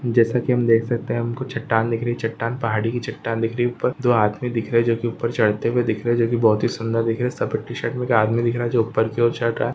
जैसा कि हम देख सकते हैं कुछ चट्टान देख रही चट्टान पहाड़ी की चट्टान दिख रही ऊपर दो आदमी दिख रहे जो के ऊपर चढ़ते हुए दिख रहे जो कि बहुत ही सुंदर दिख रहे सफेद टी-शर्ट में एक आदमी दिख रहा जो ऊपर की ओर चढ रहा हैं।